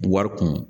Wari kun